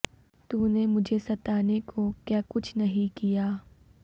تو نے مجھے ستانے کو کیا کچھ نہیں کیا